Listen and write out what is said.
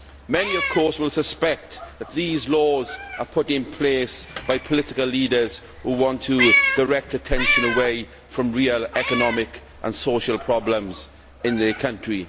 Many will suspect, of course, that these laws are put in place by political leaders who want to direct attention away from real economic and social problems in their country.